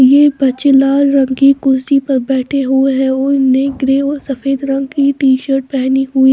ये बच्चे लाल रंग की कुर्सी पर बैठे हुए हैं और उन्होंने ग्रे ओर सफेद रंग की टीशर्ट पहनी हुई --